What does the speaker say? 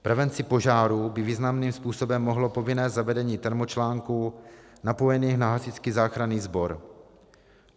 Prevenci požárů by významným způsobem pomohlo povinné zavedení termočlánků napojených na Hasičský záchranný sbor.